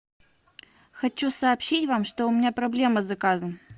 хочу сообщить вам что у меня проблема с заказом